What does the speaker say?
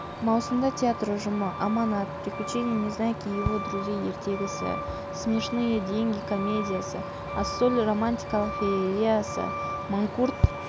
маусымда театр ұжымы аманат приключения незнайки его друзей ертегісі смешные деньги комедиясы ассоль романтикалық феериясы манкурт